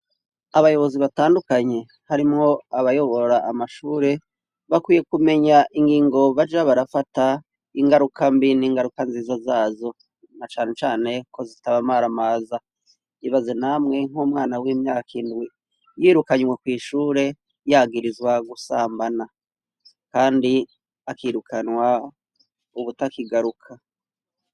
abayobozi batandukanye harimwo abayobora amashure bakwiye kumenya ingingo baja barafata ingaruka mbi n'ingaruka nziza zazo na canecane ko zitabamaramaza yibazenamwe nk'umwana w'imyaka indwi yirukanywe kw' ishure yagirizwa gusambana kandi akirukanwa ubutakigaruka